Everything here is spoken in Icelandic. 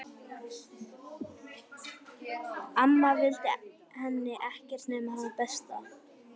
Amma vildi henni ekkert nema það besta.